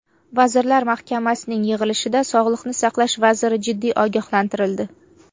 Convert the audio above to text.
Vazirlar Mahkamasidagi yig‘ilishda Sog‘liqni saqlash vaziri jiddiy ogohlantirildi.